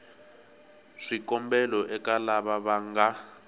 swikombelo eka lava va nga